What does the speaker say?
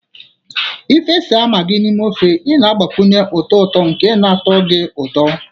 Ị fesa Maggi n'ime ofe, na-agbakwunye ụtọ ụtọ nke na-atọ gị ụtọ.